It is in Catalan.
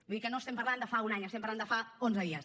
vull dir que no estem parlant de fa un any estem parlant de fa onze dies